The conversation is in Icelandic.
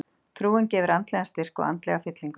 Trúin gefur andlegan styrk og andlega fyllingu.